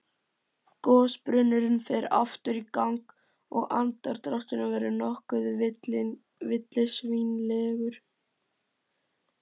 Gosbrunnurinn fer aftur í gang og andardrátturinn verður nokkuð villisvínslegur.